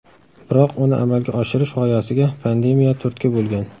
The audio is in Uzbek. Biroq uni amalga oshirish g‘oyasiga pandemiya turtki bo‘lgan.